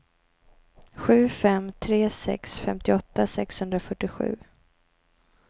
sju fem tre sex femtioåtta sexhundrafyrtiosju